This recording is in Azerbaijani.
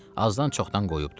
Azdan-çoxdan qoyubdur.